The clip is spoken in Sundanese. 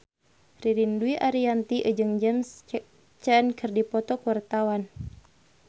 Ririn Dwi Ariyanti jeung James Caan keur dipoto ku wartawan